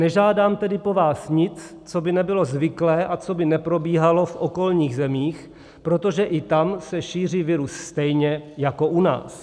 Nežádám tedy po vás nic, co by nebylo zvyklé a co by neprobíhalo v okolních zemích, protože i tam se šíří virus stejně jako u nás.